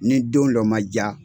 Nin don lɔ man jaa